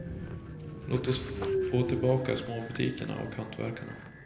Låt oss få tillbaka småbutikerna och hantverkarna.